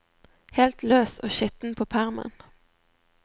Helt løs og skitten på permen.